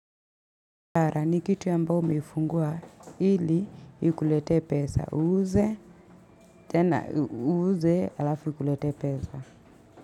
Ara ni kitu ambayo umefungua ili ikulete pesa. Uuze, tena uuze alafu ikulete pesa.